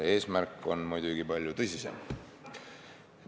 Eesmärk on muidugi palju tõsisem.